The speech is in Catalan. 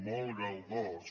molt galdós